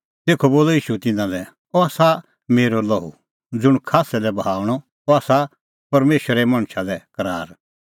तेखअ बोलअ ईशू तिन्नां लै अह आसा मेरअ लोहू ज़ुंण खास्सै लै बहाऊंणअ अह आसा परमेशरे मणछा लै करार